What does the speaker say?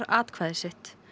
atkvæði sitt